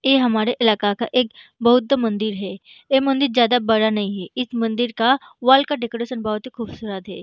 ये हमारे इलाका का एक बौद्ध मंदिर है ये मंदिर जादा बड़ा नहीं है इस मंदिर का वाल का डेकोरेशन बहुत ही ख़ूबसूरत है।